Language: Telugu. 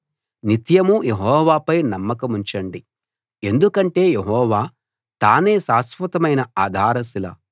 నిత్యమూ యెహోవాపై నమ్మకముంచండి ఎందుకంటే యెహోవా తానే శాశ్వతమైన ఆధారశిల